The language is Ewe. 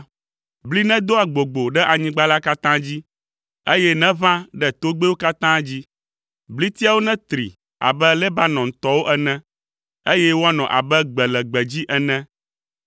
Bli nedo agbogbo ɖe anyigba la katã dzi; eye neʋã ɖe togbɛwo katã dzi. Blitiawo netri abe Lebanontɔwo ene, eye woanɔ abe gbe le gbedzi ene.